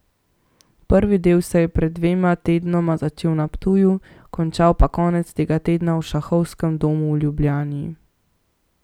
Prvi del se je pred dvema tednoma začel na Ptuju, končal pa konec tega tedna v Šahovskem domu v Ljubljani.